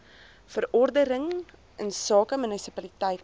verordening insake munisipaliteit